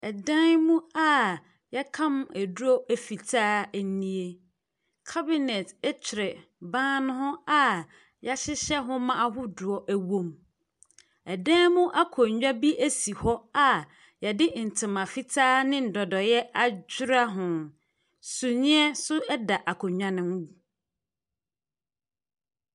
Ɛdan mu a wɔakam aduro fitaa nie. Cabine twere ban no ho a wɔahyehyɛ nhoma ahodoɔ wom. Ɛdan mu akonnwa bi si hɔ a wɔde ntoma fitaa ne dɔdɔeɛ adura ho. Sumiiɛ nso da akonnwa no mu.